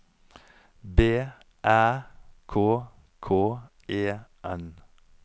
B Æ K K E N